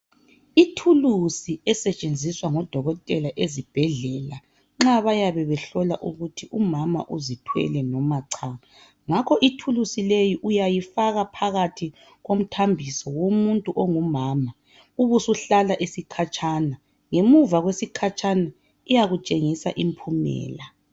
Ithulusi esetshenziswa NGO dokotela esibhedlela nxa beyabe behlola ukuthi Umama uzithwele noma cha ngakho ithulusi leyi uyayifaka phakathi komthambiso womuntu ongumama ubusuhlala isikhatshana ngemuva kwesikhatshana iyakutshengisa imphumela